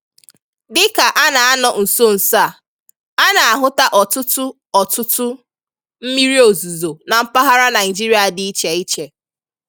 Dịka a nọ na nsonso a, a na-ahụta ọtụtụ ọtụtụ mmiri ozuzo na mpaghara Naịjirịa dị iche iche.